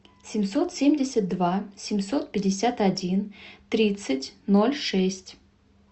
семьсот семьдесят два семьсот пятьдесят один тридцать ноль шесть